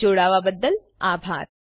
જોડાવાબદ્દલ આભાર